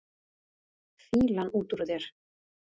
Fýlan út úr þér!